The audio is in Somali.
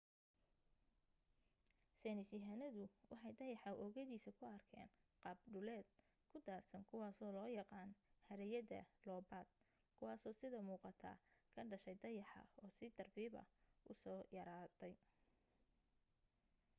saynisyahanadu waxay dayaxa oogadiisa ku arkeen qaab dhuleed ku daadsan kuwaasoo loo yaqaan haraayada loobayt kuwaaso sida muuqata ka dhashay dayaxa oo si tartiiba u soo yaraaday